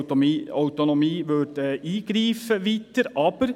Und sie sollte nicht in die Gemeindeautonomie eingreifen.